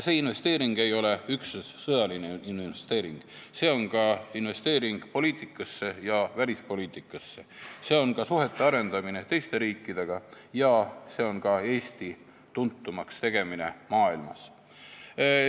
See investeering ei ole üksnes sõjaline, see on ka investeering poliitikasse ja välispoliitikasse, see on ka suhete arendamine teiste riikidega ja see on ka Eesti tuntumaks tegemine maailmas.